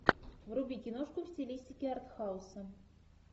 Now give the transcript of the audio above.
вруби киношку в стилистике артхауса